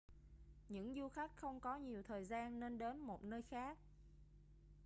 những du khách không có nhiều thời gian nên đến một nơi khác